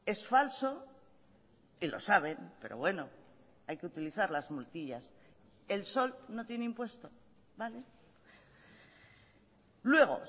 es falso y lo saben pero bueno hay que utilizar las multillas el sol no tiene impuesto luego